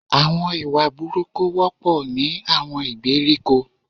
Àwon ìwà burúkú wọ́pọ̀ ní àwon ìgbèríko